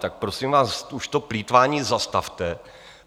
Tak prosím vás, už to plýtvání zastavte.